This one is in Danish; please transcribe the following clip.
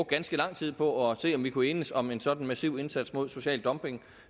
ganske lang tid på at se om vi kunne enes om en sådan massiv indsats mod social dumping